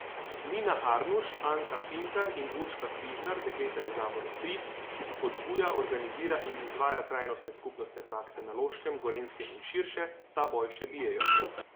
Nina Arnuš, Anka Pintar in Urška Križnar, dekleta iz Zavoda Tri, ki spodbuja, organizira in izvaja trajnostne skupnostne prakse na Loškem, Gorenjskem in širše, ta boj še bijejo.